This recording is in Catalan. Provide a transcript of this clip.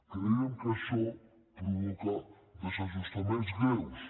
creiem que això provoca desajustos greus